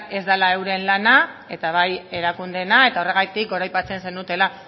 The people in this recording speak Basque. ez dela euren lana eta bai erakundeena eta horregatik goraipatzen zenutela